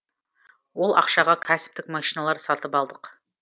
ол ақшаға кәсіптік машиналар сатып алдық